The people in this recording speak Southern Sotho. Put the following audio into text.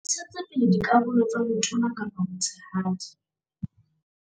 Ha ntshetse pele dikarolo tsa botona kapa botshehadi